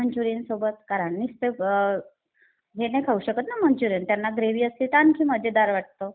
मंचुरीयनसोबत कारण नुसते हे नाही खाऊ शकत ना मंचुरीयन. त्यांना ग्रेव्ही असते तर आणखीन मजेदार वाटते.